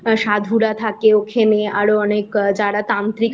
সাধুরা থাকে ওখানে আরও অনেক যারা তান্ত্রিক আছে